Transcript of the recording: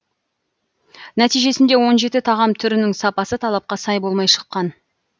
нәтижесінде он жеті тағам түрінің сапасы талапқа сай болмай шыққан